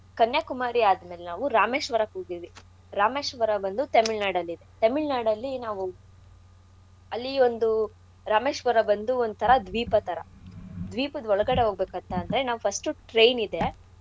ಕನ್ಯಾಕುಮಾರಿ ಆದ್ಮೇಲ್ ನಾವು ರಾಮೇಶ್ವರಕ್ಕೆ ಹೋಗಿದ್ವಿ ರಾಮೇಶ್ವರ ಬಂದು ತೆಮಿಳ್ನಾಡಲ್ಲಿದೆ ತೆಮಿಳ್ನಾಡಲ್ಲಿ ನಾವು ಅಲ್ಲಿ ಒಂದು ರಾಮೇಶ್ವರ ಬಂದು ಒಂಥರಾ ದ್ವೀಪದ್ಥರಾ ದ್ವೀಪದ್ ಒಳಗಡೆ ಹೋಗ್ಬೇಕಂತ ಅಂದ್ರೆ ನಾವ್ first ಉ train ಇದೆ.